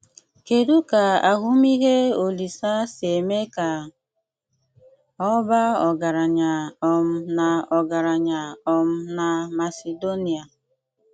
Kédụ ka àhụ̀mìhè Òlísè’ sí émé ka ọ̀ bàà ọ́gàrànyà um nà ọ́gàrànyà um nà Màsèdóníà.